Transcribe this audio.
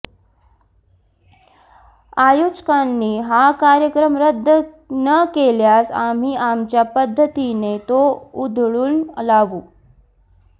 आयोजकांनी हा कार्यक्रम रद्द न केल्यास आम्ही आमच्या पद्धतीने तो उधळून लावू